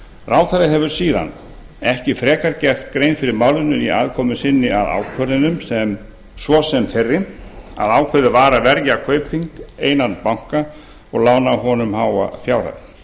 ráðherra hefur síðan ekki frekar gert grein fyrir málinu í aðkomu sinni að ákvörðunum svo sem þeirri að ákveðið var að verja kaupþing einan banka og lána honum háa fjárhæð